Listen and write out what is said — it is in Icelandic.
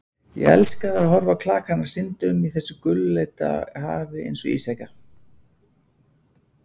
Ég elskaði að horfa á klakana synda um í þessu gulleita hafi einsog ísjaka.